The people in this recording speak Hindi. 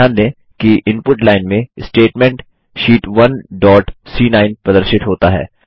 ध्यान दें कि इनपुट लाइन में स्टेटमेंट शीट 1 डॉट सी9 प्रदर्शित होता है